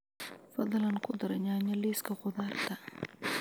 fadlan ku dar yaanyo liiska khudaarta